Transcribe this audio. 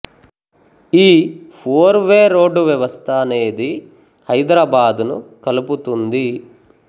ఈ four way road వ్యవస్థ అనేది హైదరాబాదును కలుపుతుంది